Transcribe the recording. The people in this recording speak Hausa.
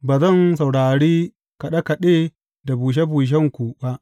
Ba zan saurari kaɗe kaɗe da bushe bushenku ba.